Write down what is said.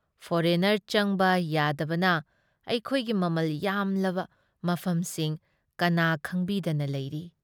Foreigner ꯆꯪꯕ ꯌꯥꯗꯕꯅ ꯑꯩꯈꯣꯏꯒꯤ ꯃꯃꯜ ꯌꯥꯝꯂꯕ ꯃꯐꯝꯁꯤꯡ ꯀꯅꯥ ꯈꯪꯕꯤꯗꯅ ꯂꯩꯔꯤ ꯫